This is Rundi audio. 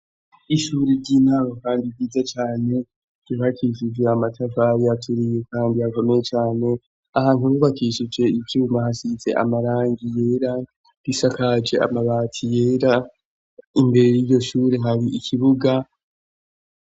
ishuri ry'intango kandi ryiza cane ryubakishije amatafari aturiye kandi akomeye cane ahantu hubakishije ivyuma hasize amarangi yera risakaje amabati yera imbere r'iyo shuri hari ikibuga.